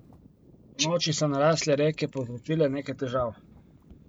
Ponoči so narasle reke povzročile nekaj težav.